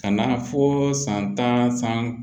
Ka na fɔ san tan san